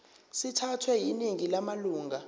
sithathwe yiningi lamalunga